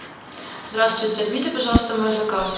здравствуйте отмените пожалуйста мой заказ